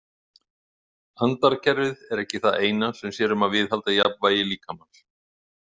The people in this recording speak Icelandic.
Andarkerfið er ekki það eina sem sér um að viðhalda jafnvægi líkamans.